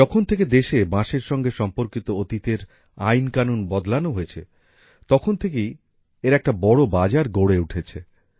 যখন থেকে দেশে বাঁশের সঙ্গে সম্পর্কিত অতীতের আইন কানুন বদলানো হয়েছে তখন থেকে এর একটা বড় বাজার গড়ে উঠেছে